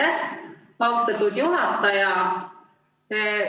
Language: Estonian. Aitäh, austatud juhataja!